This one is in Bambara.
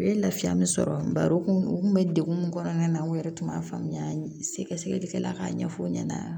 U ye lafiya min sɔrɔ bari u kun u kun be degun min kɔnɔna na u yɛrɛ tun b'a faamuya sɛgɛ sɛgɛlikɛla k'a ɲɛf'u ɲɛna